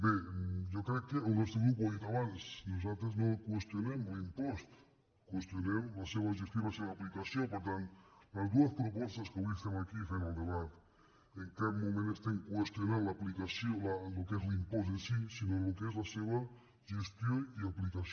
bé jo crec que el nostre grup ho ha dit abans nosaltres no qüestionem l’impost qüestionem la seva gestió i la seva aplicació per tant en les dues propostes que avui estem aquí fent ne el debat en cap moment estem qüestionant el que és l’impost en si sinó el que és la seva gestió i aplicació